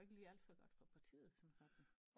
Går jo ikke lige alt for godt for partiet som sådan